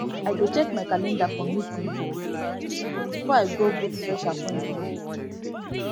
i dey check my calendar for meeting for meeting before i go book fresh appointment